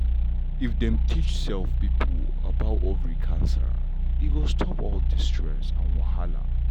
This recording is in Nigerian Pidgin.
if dem teach um pipo well about ovary cancer e go stop all the stress and wahala.